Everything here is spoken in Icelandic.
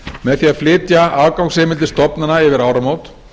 með því að flytja afgangsheimildir stofnana yfir áramót